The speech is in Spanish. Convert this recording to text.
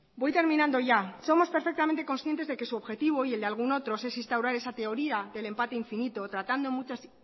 voy terminando ya somos perfectamente conscientes de que su objetivo y el de algún otro es instaurar esa teoría del empate infinito tratando muchas